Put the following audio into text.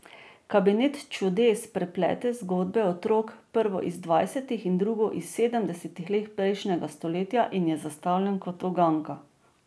Kabinet čudes preplete zgodbi otrok, prvo iz dvajsetih in drugo iz sedemdesetih let prejšnjega stoletja, in je zastavljen kot uganka.